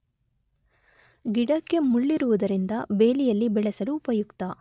ಗಿಡಕ್ಕೆ ಮುಳ್ಳಿರುವುದರಿಂದ ಬೇಲಿಯಲ್ಲಿ ಬೆಳೆಸಲು ಉಪಯುಕ್ತ.